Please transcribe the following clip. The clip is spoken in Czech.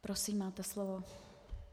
Prosím, máte slovo.